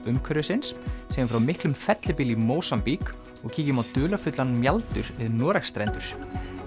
umhverfisins segjum frá miklum fellibyl í Mósambík og kíkjum á dularfullan við Noregsstrendur